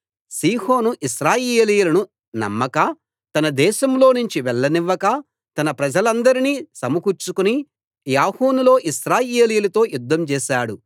సీహోను ఇశ్రాయేలీయులను నమ్మక తన దేశంలోనుంచి వెళ్లనివ్వక తన ప్రజలందర్నీ సమకూర్చుకుని యాహసులో ఇశ్రాయేలీయులతో యుద్ధం చేశాడు